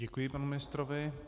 Děkuji panu ministrovi.